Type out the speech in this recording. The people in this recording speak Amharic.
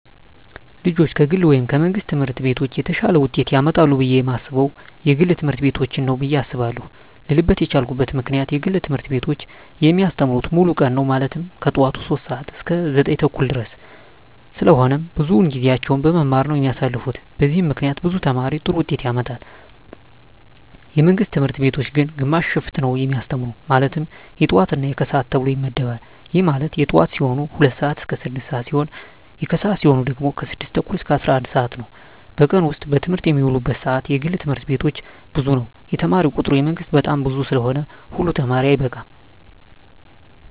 ልጆች ከግል ወይም ከመንግሥት ትምህርት ቤቶች የተሻለ ውጤት ያመጣሉ ብየ የማስበው የግል ትምህርት ቤቶችን ነው ብየ አስባለው ልልበት የቻልኩት ምክንያት የግል ትምህርት ቤቶች የሚያስተምሩት ሙሉ ቀን ነው ማለትም ከጠዋቱ 3:00 ሰዓት እስከ 9:30 ድረስ ስለሆነ ብዙውን ጊዜያቸውን በመማማር ነው የሚያሳልፉት በዚህም ምክንያት ብዙ ተማሪ ጥሩ ውጤት ያመጣል። የመንግስት ትምህርት ቤቶች ግን ግማሽ ሽፍት ነው የሚያስተምሩ ማለትም የጠዋት እና የከሰዓት ተብሎ ይመደባል ይህም ማለት የጠዋት ሲሆኑ 2:00 ስዓት እስከ 6:00 ሲሆን የከሰዓት ሲሆኑ ደግሞ 6:30 እስከ 11:00 ነው በቀን ውስጥ በትምህርት የሚውሉበት ሰዓት የግል ትምህርት ቤቶች ብዙ ነው የተማሪ ቁጥሩ የመንግስት በጣም ብዙ ስለሆነ ሁሉ ተማሪ አይበቃም።